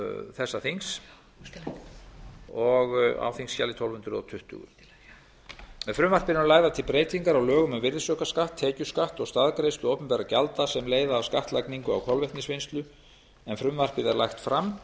þessa þings á þingskjali tólf hundruð tuttugu með frumvarpinu eru lagðar til breytingar á lögum um virðisaukaskatt tekjuskatt og staðgreiðslu opinberra gjalda sem leiða af skattlagningu á kolvetnisvinnslu en frumvarpið er lagt fram